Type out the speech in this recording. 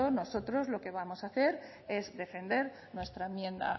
nosotros lo que vamos a hacer es defender nuestra enmienda